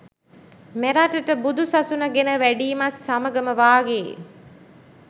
මෙරටට බුදු සසුන ගෙන වැඩීමත් සමඟම වාගේ